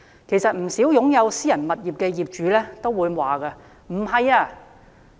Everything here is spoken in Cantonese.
其實不少擁有私人物業的業主都會回答：不是。